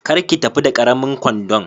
Kar ki tafi da karamin kwandon.